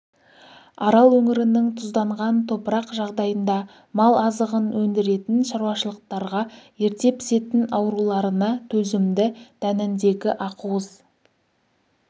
арал өңірінің тұзданған топырақ жағдайында мал азығын өндіретін шаруашылықтарға ерте пісетін ауруларына төзімді дәніндегі ақуыз